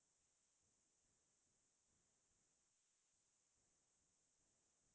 তাৰ ভিতৰত মন যাই গীতটো জুবিন দাৰ সকলোতকৈ প্ৰিয়